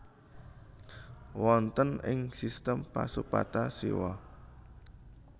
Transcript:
Wonten ing sistem Pasupata siwa